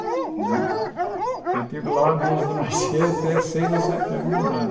Eu estive lá desde nascer até seis a sete anos de idade.